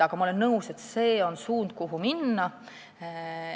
Ma olen nõus, et see on õige suund, kuhu minna.